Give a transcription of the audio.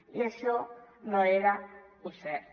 i això no era cert